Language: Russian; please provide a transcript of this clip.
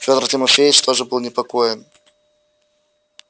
фёдор тимофеич тоже был непокоен